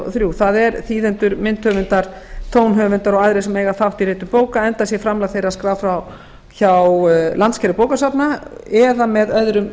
þrjú það eru þýðendur myndhöfundar tónhöfundar og aðrir sem eiga þátt í ritun bóka enda sé framlag þeirra skráð hjá landssambandi bókasafna eða með öðrum